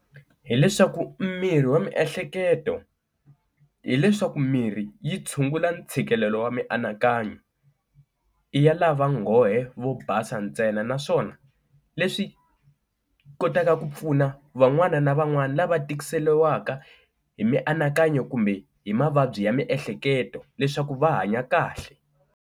Hi leswaku mirhi wa miehleketo hileswaku mirhi yi tshungula ntshikelelo wa mianakanyo, i ya lava nghohe vo basa ntsena naswona leswi kotaka ku pfuna van'wana na van'wana lava tikiseliwaka hi mianakanyo kumbe hi mavabyi ya miehleketo leswaku va hanya kahle.